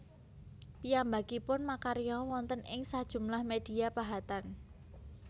Piyambakipun makarya wonten ing sajumlah media pahatan